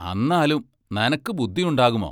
അന്നാലും നനക്കു ബുദ്ദിയൊണ്ടാകുമോ?